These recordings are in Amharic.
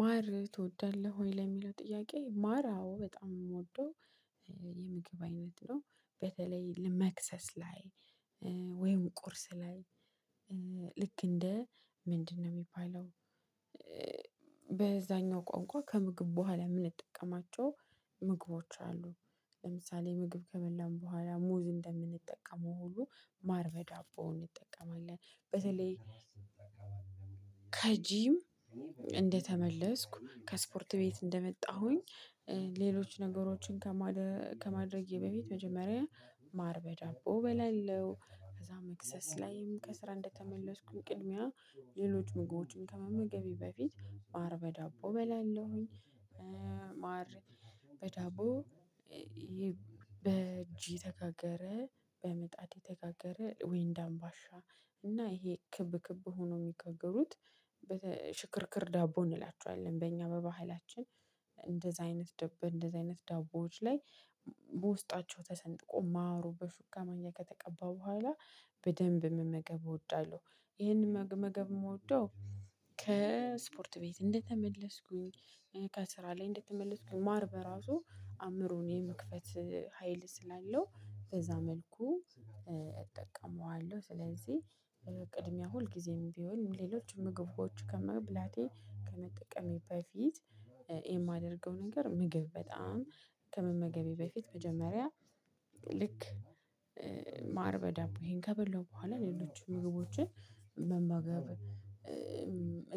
ማር ትወዳለህ ወይ ለሚለው ጥያቄ? ማር አዎ በጣም የምወደው የምግብ አይነት ነው። በተለይ ለመክሰስ ላይ። ወይም ቁርስ ላይ። ልክ እንደ ምንድነው የሚባለው? በዛኛው ቋንቋ ከምግብ በኋላ ምን ይጠቀማቸው ምግቦች አሉ። ለምሳሌ ምግብ ከመላን በኋላ ሙዝ እንደምንጠቀመው ሁሉ ማርበዳቦን ይጠቀማል። በተለይ ከጂም እንደተመለስኩ ከስፖርት ቤት እንደመጣሁኝ። ሌሎች ነገሮችን ከማድረጌ በፊት መጀመሪያ ማር በጃቦ በላለው ከዛ መክሰስ ላይም ከስራ እንደተመለስኩኝ ቅድሚያ ሌሎች ምግቦችን ከመመገቢ በፊት ማር በዳቦ እበላለሁኝ። ማር በዳቦ በእጅ የተጋገረ በመጣት የተጋገረ ወይንድ አምባሻ እና ይሄ ክብ ክብ ሆኖ የሚገግሩት በተ ሽክርክር ዳቦ እንላቸዋለን። በእኛ በባህላችን። እንደዚህ አይነት ዳቦ እንደዚህ አይነት ዳቦዎች ላይ በውስጣቸው ተሰንጥቆ ማሩ በሹ ማንኪያ ከተቀባ በኋላ በደንብ መመገብ እወዳለሁ። ይሄንን መገመገብ የምወደው ከስፖርት ቤት እንደተመለስኩኝ ከስራ ላይ እንደተመለስኩኝ ማር በራሱ አእምሮን የመክፈት ሀይል ስላለው በዛ መልኩ እጠቀመዋለሁ። ስለዚህ ቅድሚያ ሁልጊዜም ቢሆንም ሌሎች ምግብሮቹ ከመብላቴ ከመጠቀሜ በፊት። የማደርገው ነገር ምግብ በጣም ከመመገቤ በፊት መጀመሪያ ልክ ማር በዳብ ይሄን ከበላው በኋላ ሌሎችን ምግቦችን መመገብ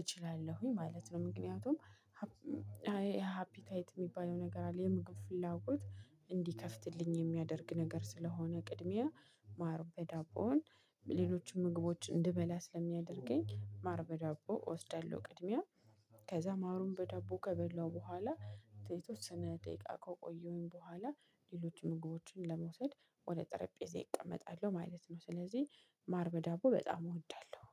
እችላለሁኝ ማለት ነው። ምክንያቱም ሃፒታይት የሚባለው ነገር አለ። የምግብ ፍላጎት እንዲከፍትልኝ የሚያደርግ ነገር ስለሆነ ቅድሚያ ማር በዳቦን ሌሎችም ምግቦች እንድበላ ስለሚያደርገኝ ማር በዳቦ እወስዳለሁ። ቅድሚያ ከዛ ማሩን በዳቦ ከበላው በኋላ ሴቶች ስነ ደቂቃ ከቆየሁኝ በኋላ ሌሎችን ምግቦችን ለመውሰድ ወደ ጠረጴዛ ይቀመጣሉ ማለት ነው። ስለዚህ ማር በዳቦ በጣም እወዳለሁ